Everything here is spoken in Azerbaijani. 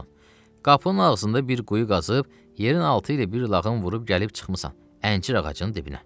Qapının ağzında bir quyu qazıb, yerin altı ilə bir lağım vurub gəlib çıxmısan əncir ağacının dibinə.